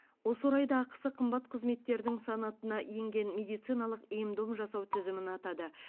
осы орайда ақысы қымбат қызметтердің санатына енген медициналық ем дом жасау тізімін атады